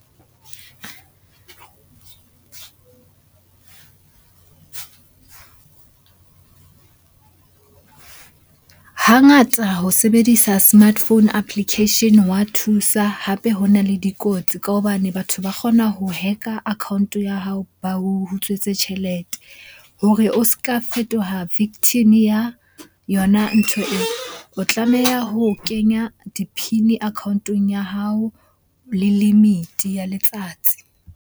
Hangata ho sebedisa smartphone application wa thusa hape ho na le dikotsi ka hobane batho ba kgona ho hack-a account-o ya hao ba utswetse tjhelete. Hore o ska fetoha victim-e ya yona ntho e, o tlameha ho kenya di-PIN account-eng ya hao le limit-e ya letsatsi.